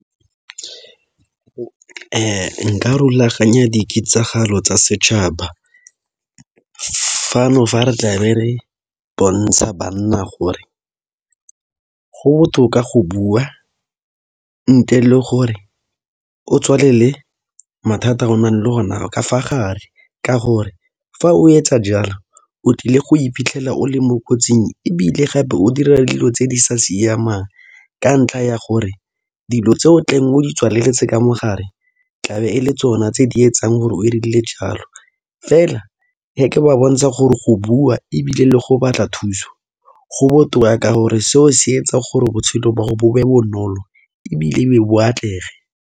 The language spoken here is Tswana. Nka rulaganya diketsagalo tsa setšhaba fano fa re tlabe re bontsha banna gore go botoka go bua ntle le gore o tswalele mathata a o nang le ona ka fa gare ka gore fa o etsa jalo o tlile go iphitlhela o le mo kotsing ebile gape o dira dilo tse di sa siamang ka ntlha ya gore dilo tse o tlabeng o di tswaleletse ka mo gare tlabe e le tsona tse di etsang gore o rile jalo, fela wa bontsha gore go bua ebile le go batla thuso go botoka ka gore seo se etsa gore botshelo ba go bo be bonolo ebile e be bo atlege.